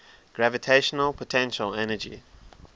gravitational potential energy